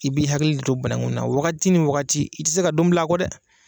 I b'i hakili to banakun na wagati ni wagati , i tɛ se ka don bil'a kɔ dɛ!